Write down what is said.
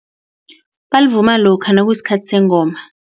Belivuma lokha nakusikhathi sengoma.